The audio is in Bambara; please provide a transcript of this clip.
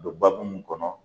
O be babu mun kɔnɔ